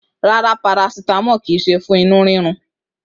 Rárá, parasitamọ kí se fún inú rírun.